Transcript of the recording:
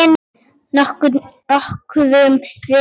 Nokkurn veginn.